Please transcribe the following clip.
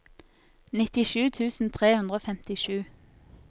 nittisju tusen tre hundre og femtisju